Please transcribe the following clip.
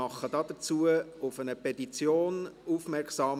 Ich mache dazu auf eine Petition von Dr. med.